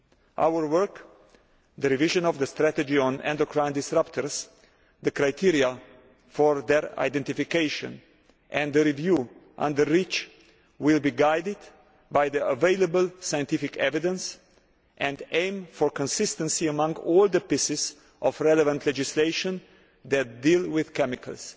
Our work the revision of the strategy on endocrine disruptors, the criteria for their identification, and the review under REACH will be guided by the available scientific evidence and will aim for consistency among all the pieces of relevant legislation that deal with chemicals.